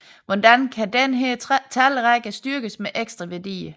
Hvordan kan denne talrække styrkes med ekstra værdier